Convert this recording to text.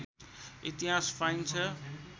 इतिहास पाइन्छ